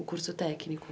O curso técnico.